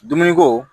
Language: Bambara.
Dumuni ko